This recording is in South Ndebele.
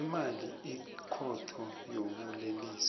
lemali ikhotho yobulelesi